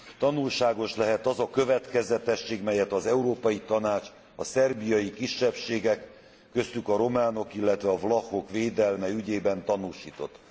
tanulságos lehet az a következetesség, melyet az Európai Tanács a szerbiai kisebbségek, köztük a románok illetve a vlachok védelme ügyében tanúsított.